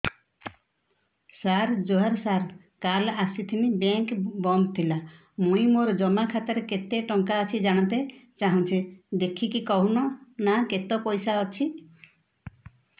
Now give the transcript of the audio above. ସାର ଜୁହାର ସାର କାଲ ଆସିଥିନି ବେଙ୍କ ବନ୍ଦ ଥିଲା ମୁଇଁ ମୋର ଜମା ଖାତାରେ କେତେ ଟଙ୍କା ଅଛି ଜାଣତେ ଚାହୁଁଛେ ଦେଖିକି କହୁନ ନା କେତ ପଇସା ଅଛି